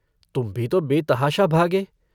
तुम भी तो बेतहाशा भागे।